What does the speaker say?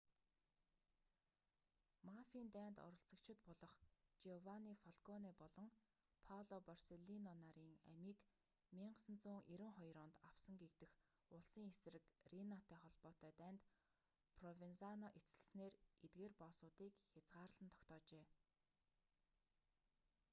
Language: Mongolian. мафийн дайнд оролцогчид болох жиованни фалконе болон пало борселлино нарын амийг 1992 онд авсан гэгдэх улсын эсрэг рийнатай холбоотой дайнд провензано эцэслэснээр эдгээр боссуудыг хязгаарлан тогтоожээ